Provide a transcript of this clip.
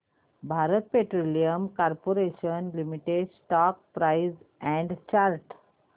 Bharat petroleum corporation limited stock price and chart